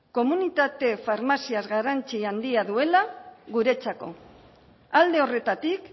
komunitate farmazia garrantzia handia duela guretzako alde horretatik